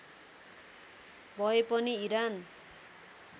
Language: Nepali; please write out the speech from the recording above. भए पनि इरान